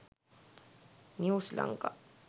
news lanka